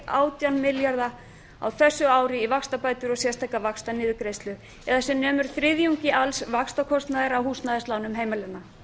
átján milljarða á þessu ári í vaxtabætur og sérstaka vaxtaniðurgreiðslu eða sem nemur þriðjungi alls vaxtakostnaðar af húsnæðislánum heimilanna